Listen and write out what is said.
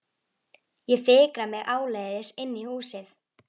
Ég fikra mig áleiðis inn í húsið.